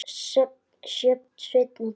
Sjöfn, Sveinn og Birna.